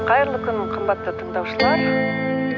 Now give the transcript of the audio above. қайырлы кун қымбатты тыңдаушылар